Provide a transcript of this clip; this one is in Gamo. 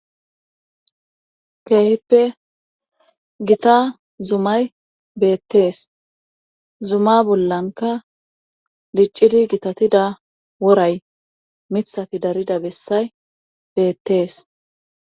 Keeheppe gita zumay beettees zuma bollanka diccidi gitatida woray mithati darida bessay beettees.